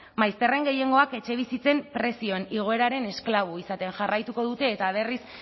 maizterren gehiengoak etxebizitzen prezioen igoeraren esklabo izaten jarraituko dute eta berriz